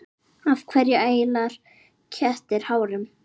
Af hverju æla kettir hárum?